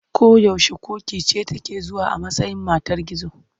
Ko yaushe ƙoƙi ce take zuwa a matsayin matar gizo.